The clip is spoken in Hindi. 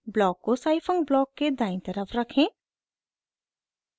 ब्लॉक को scifunc ब्लॉक के दायीं तरफ रखें